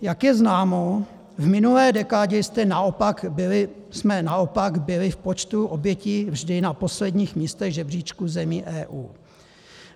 Jak je známo, v minulé dekádě jsme naopak byli v počtu obětí vždy na posledních místech žebříčku zemí EU.